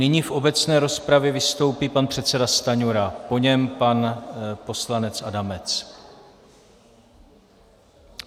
Nyní v obecné rozpravě vystoupí pan předseda Stanjura, po něm pan poslanec Adamec.